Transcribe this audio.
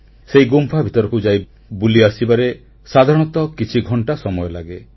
ସେଇ ଗୁମ୍ଫା ଭିତରକୁ ଯାଇ ବୁଲି ଆସିବାରେ ସାଧାରଣତଃ କିଛି ଘଂଟା ସମୟ ଲାଗେ